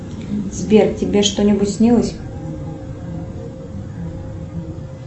сбер тебе что нибудь снилось